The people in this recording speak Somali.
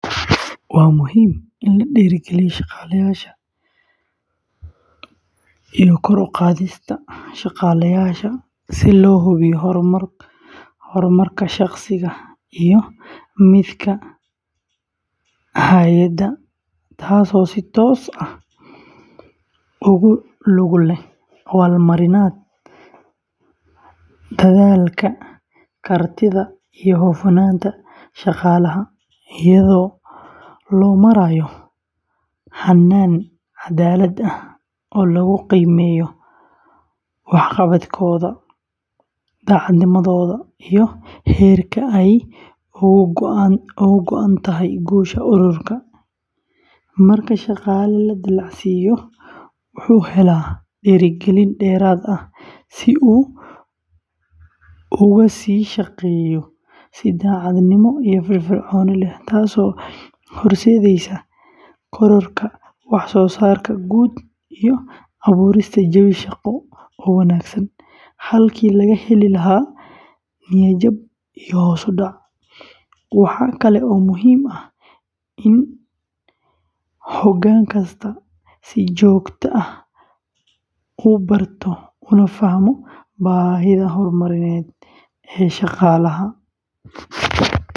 Waa muhiim in la dhiirrigeliyo kor u qaadista shaqaalaha si loo hubiyo horumarka shaqsiga iyo midka hay’adda, taasoo si toos ah ugu lug leh abaalmarinta dadaalka, kartida, iyo hufnaanta shaqaalaha, iyadoo loo marayo hannaan caddaalad ah oo lagu qiimeeyo waxqabadkooda, daacadnimadooda iyo heerka ay uga go’an tahay guusha ururka; marka shaqaale la dallacsiiyo, wuxuu helaa dhiirigelin dheeraad ah si uu uga sii shaqeeyo si daacadnimo iyo firfircooni leh, taasoo horseedaysa kororka waxsoosaarka guud iyo abuurista jawi shaqo oo wanaagsan, halkii laga heli lahaa niyad-jab iyo hoos u dhac; waxa kale oo muhiim ah in hoggaan kastaa si joogto ah u barto una fahmo baahida horumarineed ee shaqaalaha.